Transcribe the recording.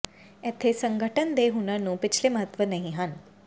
ਇੱਥੇ ਸੰਗਠਨ ਦੇ ਹੁਨਰ ਨੂੰ ਪਿਛਲੇ ਮਹੱਤਵ ਨਹੀ ਹਨ